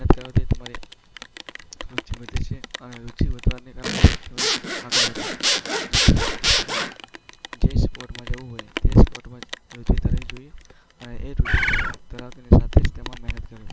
મહેનત કરવાથી તમારી રૂચિ વધે છે અને રુચિ વધવાને કારણે જ તમે આગળ વધો છો. જેથી આપણે જે સ્પોર્ટમાં જવું હોય તે સ્પોર્ટમાં રુચિ ધરાવવી જોઈએ. એ રૂચિ ધરાવતાની સાથે જ તેમાં મહેનત કરવી જોઈએ.